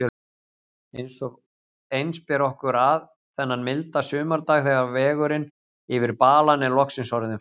Eins ber okkur að, þennan milda sumardag þegar vegurinn yfir balann er loksins orðinn fær.